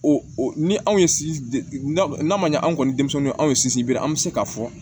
O ni anw ye n'a ma ɲɛ anw kɔni denmisɛnnin anw sigi be an be se k'a fɔ